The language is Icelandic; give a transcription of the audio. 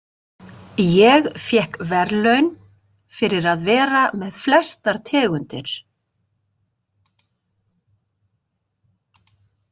Ég fékk verðlaun fyrir að vera með flestar tegundir.